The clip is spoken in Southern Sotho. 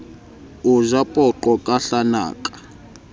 o ja poqo ka hlanaka